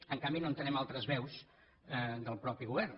en canvi no entenem altres veus del mateix govern